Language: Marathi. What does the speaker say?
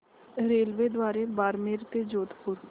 रेल्वेद्वारे बारमेर ते जोधपुर